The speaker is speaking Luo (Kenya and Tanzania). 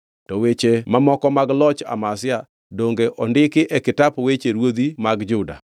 To weche mamoko mag loch Amazia, donge ondikgi e kitap weche ruodhi mag Juda?